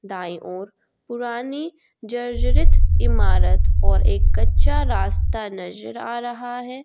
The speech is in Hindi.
दाई ओर पुरानी जर्जरित इमारत और एक कच्चा रास्ता नजर आ रहा है।